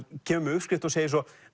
kemur með uppskrift og segir svo